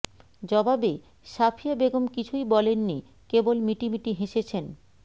জবাবে সাফিয়া বেগম কিছুই বলেননি কেবল মিটিমিটি হেসেছেন